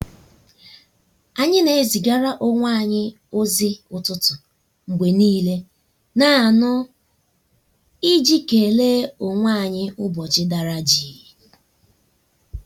anyị na ezịgara onwe anyi ozi ụtụtụ mgbe niile naanụ i ji kele onwe anyị ụbọchị dara jịị.